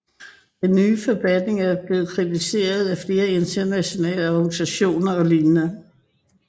Den nye forfatning er blevet kritiseret af flere internationale organisationer og lignende